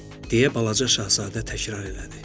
deyə balaca şahzadə təkrar elədi.